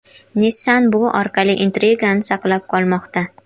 Nissan bu orqali intrigani saqlab qolmoqda.